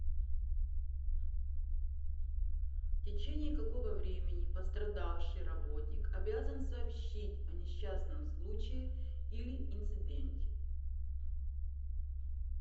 в течение какого времени пострадавший работник обязан сообщить о несчастном случае или инциденте